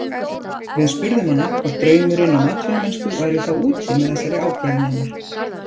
Við spurðum hana hvort draumurinn um atvinnumennsku væri þá úti með þessari ákvörðun hennar?